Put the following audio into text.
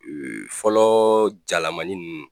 Fɔlɔ jalamanin ninnu